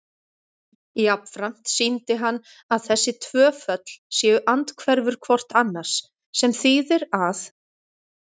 Jafnframt sýndi hann að þessi tvö föll séu andhverfur hvort annars, sem þýðir að